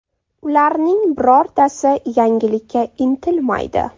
Ularning birortasi yangilikka intilmaydi.